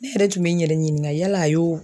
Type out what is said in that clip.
Ne yɛrɛ tun be n yɛrɛ ɲininga yala a y'o